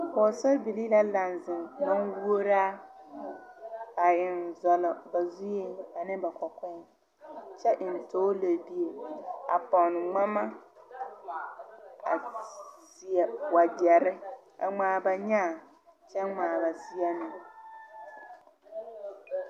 Pɔɔsarebilii la laŋ zeŋ manwuoraa a eŋ zɔlɔ ba zueeŋ ane ba kɔkɔɛ kyɛ eŋ toor lɛbie a pɔne ngmama a seɛ wagyɛrre a ngmaa ba nyaa kyɛ ngmaa ba seɛ meŋ.